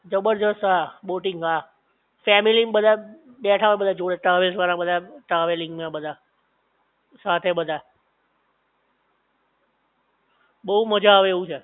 જબરજસ્ત હા બોટિંગ હા ફેમિલી ન બધા બેઠા હોય બધાં જોડે ટ્રાવેલ્સ વાળા બધા ટ્રાવેલિંગ ને બધા સાથે બધા બોવ આવે એવું છે